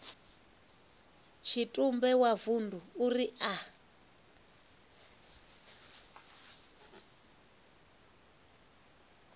tshitumbe wa vundu uri a